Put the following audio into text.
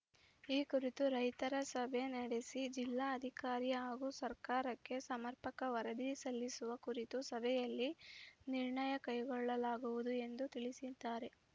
ಈ ಕುರಿತು ರೈತರ ಸಭೆ ನಡೆಸಿ ಜಿಲ್ಲಾಧಿಕಾರಿ ಹಾಗೂ ಸರ್ಕಾರಕ್ಕೆ ಸಮರ್ಪಕ ವರದಿ ಸಲ್ಲಿಸುವ ಕುರಿತು ಸಭೆಯಲ್ಲಿ ನಿರ್ಣಯ ಕೈಗೊಳ್ಳಲಾಗುವುದು ಎಂದು ತಿಳಿಸಿದ್ದಾರೆ